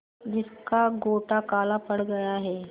जिसका गोटा काला पड़ गया है